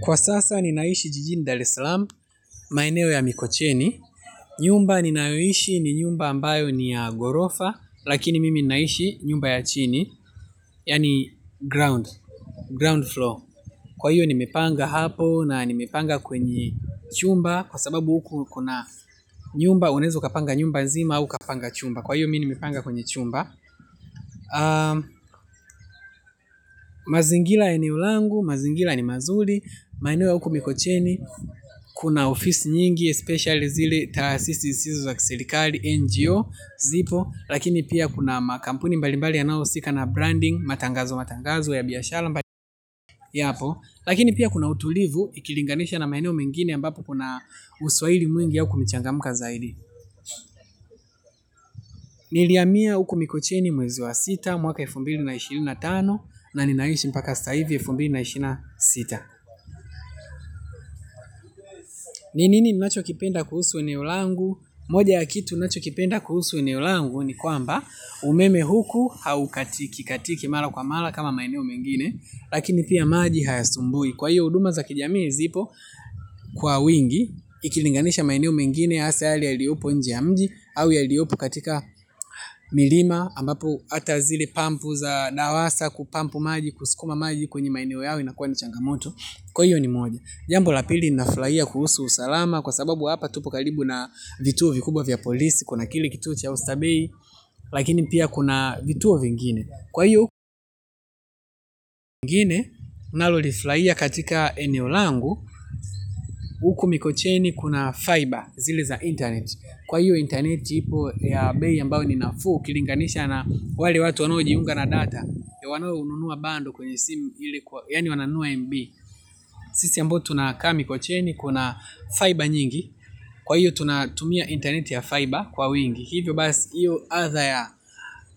Kwa sasa ninaishi jijini Dar Es Salaam maeneo ya mikocheni. Nyumba ninaishi ni nyumba ambayo ni ghorofa lakini mimi ninaishi nyumba ya chini. Yani ground, ground floor. Kwajhiyo nimepanga hapo na nimepanga kwenye chumba kwa sababu huku kuna nyumba unaweza ukapanga nyumba nzima au ukapanda chumba. Kwa hiyo mimi nimepanga kwenye chumba. Mazingira ya eneo langu, mazingira ni mazuri maeneo ya huku mikocheni, kuna ofisi nyingi, especially zile taasisi zisizo za kiserikali, NGO, zipo, lakini pia kuna makampuni mbalimbali yanayohusika na branding, matangazo matangazo ya biashaea mbalimbali yapo, lakini pia kuna utulivu, ikilinganisha na maeneo mengine ambapo kuna uswahili mwingi au kumechangamka zaidi. Niliamia huku mikocheni mwezi wa sita, mwaka elfu mbili na ishirini na tano, na ninaishi mpaka saivi elfu mbili na ishirini na sita. Sita, ni nini nachokipenda kuhusu eneo langu, moja ya kitu nachokipenda kuhusu eneo langu ni kwamba umeme huku haukatiki, katiki mara kwa mara kama maeneo mengine, lakini pia maji hayasumbui. Kwa hiyo huduma za kijamii zipo, kwa wingi, ikilinganisha maeneo mengine, hasa yale yaliyopo nje ya mji, au yaliyopo katika milima, ambapo hata zile pampu za Dawasa kupampu maji, kusukuma maji kwenye maeneo yao inakuwa ni changamoto, kwa hiyo ni moja. Jambo la pili nafurahia kuhusu usalama kwa sababu hapa tupo karibu na vituo vikubwa vya polisi, kuna kile kituo cha Oysterbay, lakini pia kuna vituo vingine. Kwa hiyo vingine, nalolifurahia katika eneo langu, huku mikocheni kuna fiber, zile za internet. Kwa hiyo internet, ipo ya bei ambao ni nafuu, ukilinganisha na wale watu wanaojiunga na data, wanao ununua bando kwenye simu, yani wananunua MB. Sisi ambao tunakaa Mikocheni kuna fiber nyingi. Kwa hiyo tunatumia interneti ya fiber kwa wingi hivyo basi hiyo atha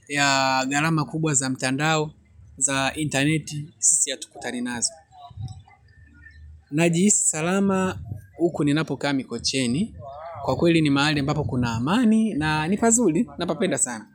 ya gharama kubwa za mtandao za intaneti sisi hatukutani nazo. Najisi salama huku ninapokaa Mikocheni. Kwa kweli ni mahali ambapo kuna amani na ni pazuri napapenda sana.